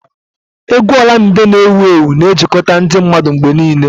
Égwù Olamide na ewuewu na-ejikọta ndị mmadụ mgbe niile.